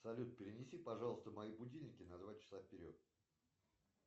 салют перенеси пожалуйста мои будильники на два часа вперед